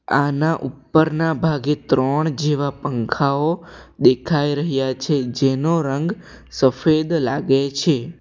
આના ઉપરના ભાગે ત્રણ જેવા પંખાઓ દેખાઈ રહ્યા છે જેનો રંગ સફેદ લાગે છે.